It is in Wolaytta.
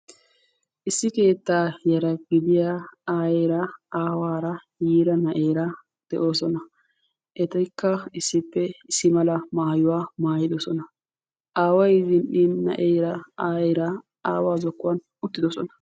Issi keettaa yara gidiyaa aayyera aawara yiiraa na'eera de'oosona; etikka issippe issi mala maayuwaa maayyidoosona; aaway zin"in aayyera na'eera aawaa zokkuwan uttidoosona.